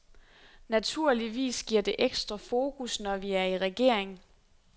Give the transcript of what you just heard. Naturligvis giver det ekstra fokus, når vi er i regering.